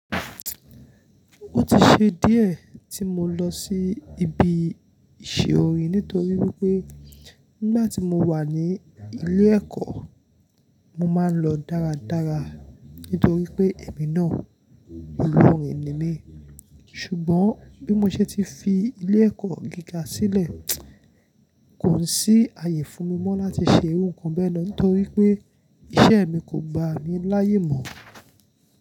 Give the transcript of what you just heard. Ó ti ṣe díẹ̀ tí mo lọ sí ibi ìṣe orin nítorí wípé nígbà tí mo wà ní ilé ẹ̀kọ́, mo máa ń lọ dára dára nítorí pé èmi náà olórin ni mí ṣùgbọ́n bí mo ṣe ti fi ilé ẹ̀kọ́ gíga sílẹ̀ kò sí àyè fún mi mọ́ láti ṣe ohun kan bẹ́ẹ̀ náà nítorí pé iṣẹ́ mi kò gba mi láyè mọ́